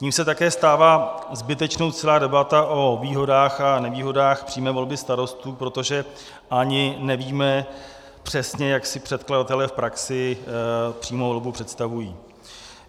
Tím se také stává zbytečnou celá debata o výhodách a nevýhodách přímé volby starostů, protože ani nevíme přesně, jak si předkladatelé v praxi přímou volbu představují.